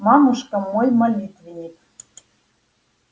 мамушка мой молитвенник